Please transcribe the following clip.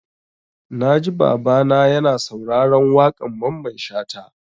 Na ji Baba na ya na sauraron waƙan Mamman Shata yau